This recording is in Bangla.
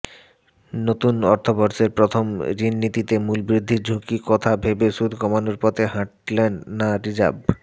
নতুন অর্থবর্ষের প্রথম ঋণনীতিতে মূল্যবৃদ্ধির ঝুঁকির কথা ভেবে সুদ কমানোর পথে হাঁটলেন না রিজার্ভ